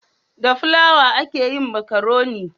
Da filawa a ke yin makaroni